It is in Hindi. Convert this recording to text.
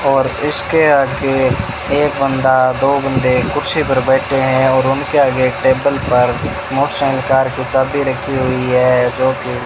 और इसके आगे एक बंदा दो बंदे कुर्सी पर बैठे हैं और उनके आगे टेबल पर मोटरसाइकिल कार की चाबी रखी हुई है जो कि --